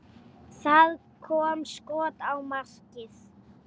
Það kom skot á markið.